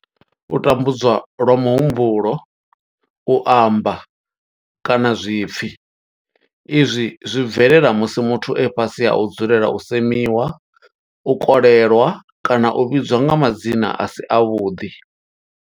U tambudzwa lwa muhumbulo, u amba, kana zwipfi izwi zwi bvelela musi muthu e fhasi ha u dzulela u semiwa, u kolelwa kana u vhidzwa nga madzina a si avhuḓi.